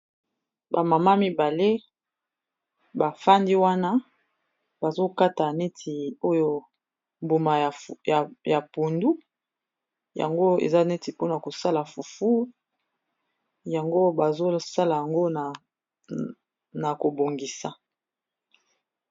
bamama mibale bafandi wana bazokata neti oyo mbuma ya pundu yango eza neti mpona kosala fufu yango bazosala yango na kobongisa